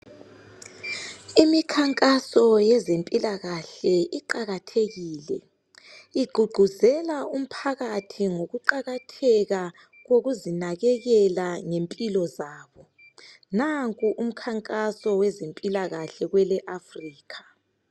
Imikhankaso yezempilakahle iqakathekile igqugquzela umphakathi ngokuqakatheka kokuzinakekela ngempilo zabo nanku umkhankaso wezempilakahle kwele Africa.